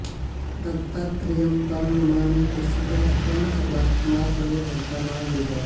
दत्तात्रेयं त्वां नमामि प्रसीद त्वं सर्वात्मा सर्वकर्ता न वेद